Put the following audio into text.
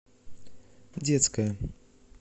детская